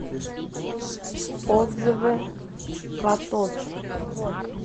отзывы катод